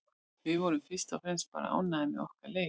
Við vorum fyrst og fremst bara ánægðar með okkar leik.